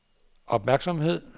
opmærksomhed